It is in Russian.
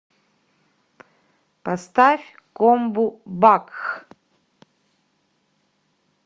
поставь комбу бакх